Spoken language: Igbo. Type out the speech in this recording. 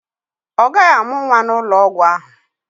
Ọ gaghị amụ nwa n'ụlọ ọgwụ ahụ.